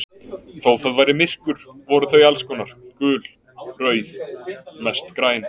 Þó það væri myrkur voru þau alls konar, gul, rauð, mest græn.